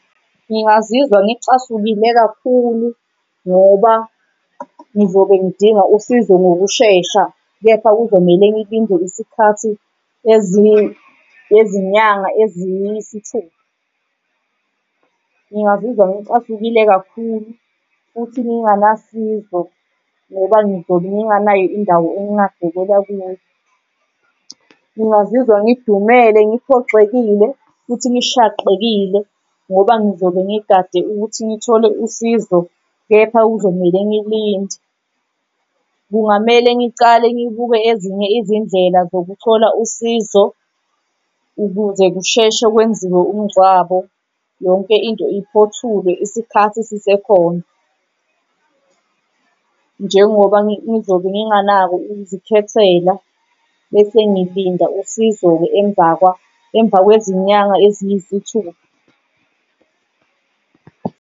Ngingazizwa ngicasukile kakhulu ngoba ngizobe ngidinga usizo ngokushesha, kepha kumele ngilinde isikhathi nezinyanga eziyisithupha. Ngingazizwa ngicasukile kakhulu futhi nginganasizo, ngoba ngizobe nginganayo indawo engingabekela kuyo. Ngingazizwa ngidumele ngiphoxekile futhi ngishaqekile ngoba ngizobe ngigade ukuthi ngithole usizo kepha kuzomele ngilinde. Kungamele ngicale ngibuke ezinye izindlela zokuthola usizo ukuze kusheshe kwenziwe umngcwabo yonke into iphothule isikhathi sisekhona njengoba ngizobe nginganako ukuzikhethela bese ngilinda usizo-ke emvakwa emvakwezinyanga eziyisithupha.